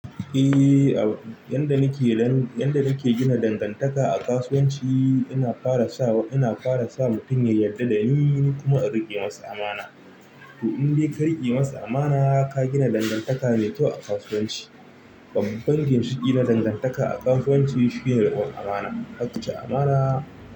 Eh, ab yanda nake gina dangantaka a kasuwanci ina fara sawa ina fara sa mutum ya yarda da ni, kuma in riƙe masa amana. To in dai ka riƙe masa amana, ka gina dangantaka mai kyau a kasuwanci. Babban ginshiƙi na dangantaka a kasuwanci shine riƙon amana. Ka ka ci amana.